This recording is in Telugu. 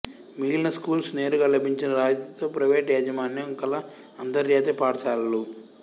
మిగిలిన స్కూల్స్ నేరుగా లభించిన రాయితీతో ప్రైవేట్ యాజమాన్యం కల అంతర్జాతీయ పాఠశాలలు